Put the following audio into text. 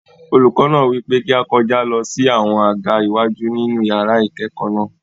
Olùkọ náà wípé kí á kọjá lọ sí àwọn àga iwájú nínú yàrá ìkẹ́kọ̀ọ́ náà.